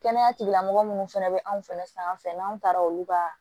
Kɛnɛya tigilamɔgɔ minnu fana bɛ anw fɛnɛ sanfɛ n'an taara olu ka